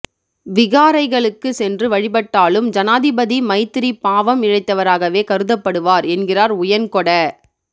விகாரைகளுக்கு சென்று வழிபட்டாலும் ஜனாதிபதி மைத்திரி பாவம் இழைத்தவராகவே கருதப்படுவார் என்கிறார் உயன்கொட